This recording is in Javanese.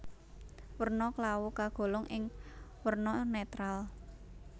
Werna klawu kagolong ing werna netral